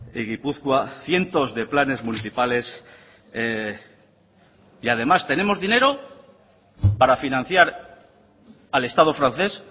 y gipuzkoa cientos de planes municipales y además tenemos dinero para financiar al estado francés